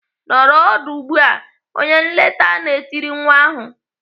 "Nọrọ ọdụ ugbu a!" Onye nlekọta na-etiri nwa ahụ.